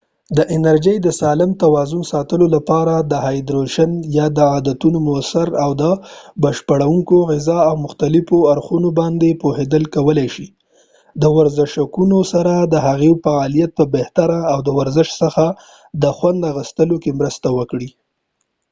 د انرژی د سالم توازن ساتلو لپاره د هایدرېشن د عادتونو موثر او د بشپړونکو غذاو د مختلفو اړخونو باندي پوهیدل کولای شي د ورزشکونکو سره د هغوي دفعالیت په بهتری او د ورزش څخه د خوند اخستلو کې مرسته وکړي